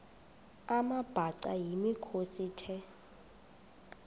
amabhaca yimikhosi the